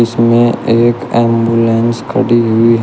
इसमें एक एंबुलेंस खड़ी हुई--